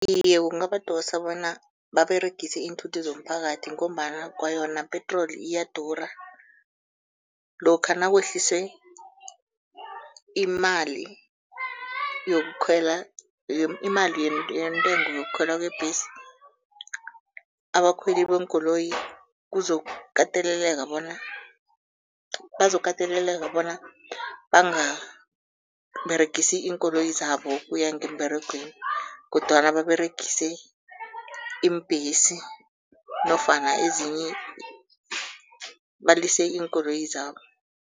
Iye, kungabadosa bona baberegise iinthuthi zomphakathi ngombana kwayona petroli iyadura. Lokha nakwehlise imali yokukhwela, imali yentengo yokukhwela kwebhesi, abakhweli beenkoloyi kuzokukateleleka bona bazokateleleka bona bangaberegisi iinkoloyi zabo ukuya ngemberegweni kodwana baberegise iimbhesi nofana ezinye, balise iinkoloyi zabo.